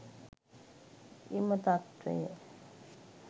එම තත්වය